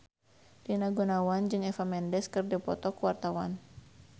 Rina Gunawan jeung Eva Mendes keur dipoto ku wartawan